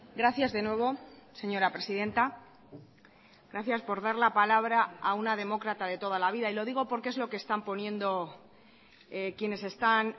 gracias de nuevo señora presidenta gracias por dar la palabra a una demócrata de toda la vida y lo digo porque es lo que están poniendo quienes están